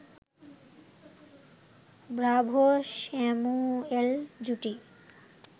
Bravo Samuel জুটি